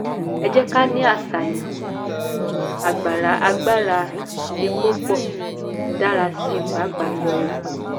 ẹ jẹ́ ká ní àṣàyàn: agbára epo pọ dára sí pàápàá yọ epo.